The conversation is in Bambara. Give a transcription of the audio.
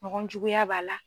Mɔgɔ juguya b'a la.